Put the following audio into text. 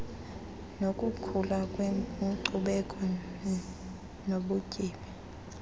nokukhula kwenkcubeko nobutyebi